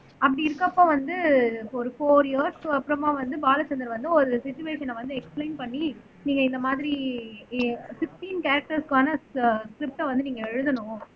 அப்படி இருக்கப்ப வந்து ஒரு ப்யோர் இயர்ஸ்க்கு அப்புறமா வந்து பாலச்சந்தர் வந்து ஒரு சுச்சுவேஷண வந்து எக்ஸ்பிளேன் பண்ணி நீங்க இந்த மாதிரி பிப்ட்டின் கேரெக்டர்ஸ்க்கான அஹ் ஸ்ரிப்ட வந்து நீங்க எழுதணும்